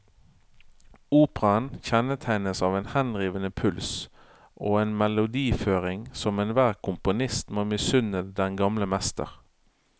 Operaen kjennetegnes av en henrivende puls og en melodiføring som enhver komponist må misunne den gamle mester.